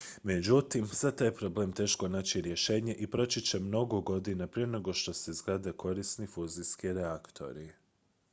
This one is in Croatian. međutim za taj je problem teško naći rješenje i proći će mnogo godina prije nego što se izgrade korisni fuzijski reaktori